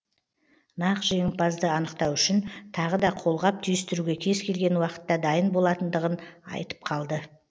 нағыз жеңімпазды анықтау үшін тағы да қолғап түйістіруге кез келген уақытта дайын болатындығын айтып қалды